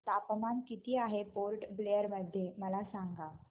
तापमान किती आहे पोर्ट ब्लेअर मध्ये मला सांगा